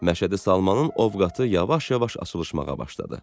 Məşədi Salmanın ovqatı yavaş-yavaş açılışmağa başladı.